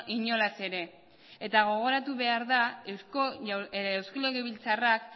inolaz ere eta gogoratu behar da eusko legebiltzarrak